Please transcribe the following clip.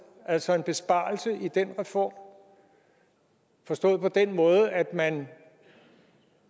altså en besparelse i den reform forstået på den måde at man